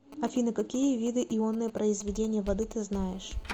афина какие виды ионное произведение воды ты знаешь